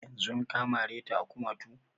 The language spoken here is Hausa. Yanzun ka mare ta a kumatu?